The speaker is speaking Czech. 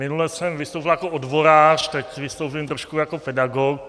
Minule jsem vystupoval jako odborář, teď vystoupím trošku jako pedagog.